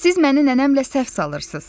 Siz məni nənəmlə səhv salırsınız.